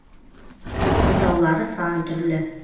сылтаулары сан түрлі